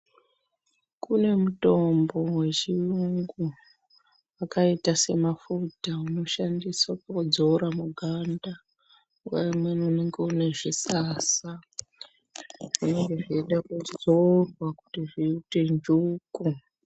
Kune mutombo wechiyungu wakaita semafuta unoshandiswa kudzora muganda, nguwa imweni unenge uine zvisasa, zvinenge zveida kudzorwa kuti zviti njuku.